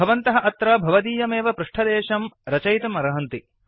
भवन्तः अत्र भवदीयमेव पृष्ठदेशं रचयितुमर्हन्ति